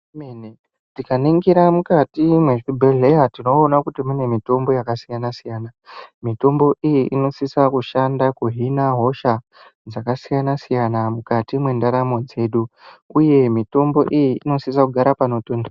Igwinyiso remenemene, tikaningira mukati mwezvibhehlera tinooona kuti mune mitombo yakasiyanasiyana. Mitombo iyi inosisa kushanda kuhina hosha dzakasiyana siyana mukati mwenndaramo dzedu. Mitombo iyi inosisa kugara panopipirira.